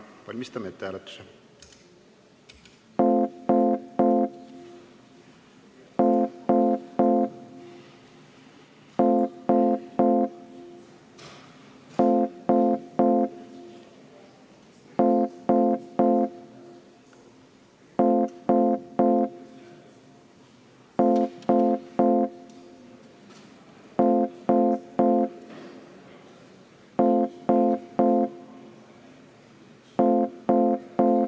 Valmistame hääletuse ette.